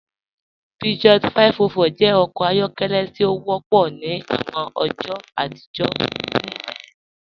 Peugeot 504 jẹ ọkọ ayọkẹlẹ ti o wọpọ ni awọn ọjọ atijọ ni Nàìjíríà.